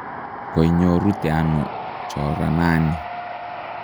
koinyorute ano choranani?